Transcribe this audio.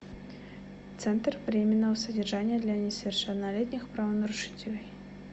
центр временного содержания для несовершеннолетних правонарушителей